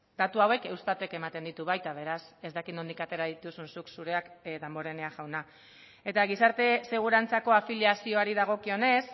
datu hauek eustatek ematen ditu baita beraz ez dakit nondik atera dituzun zuk zureak damborenea jauna eta gizarte segurantzako afiliazioari dagokionez